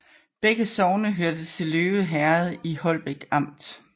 Begge sogne hørte til Løve Herred i Holbæk Amt